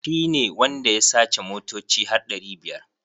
Shi ne wanda ya sace motoci har ɗari biyar.